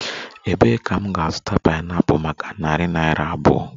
Ebee ka m ga-azụta pineapple maka narị naira abụọ?